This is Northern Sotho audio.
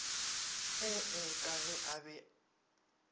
ee ka ge a be